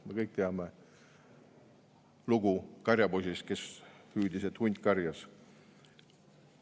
Me kõik teame lugu karjapoisist, kes hüüdis, et hunt karjas.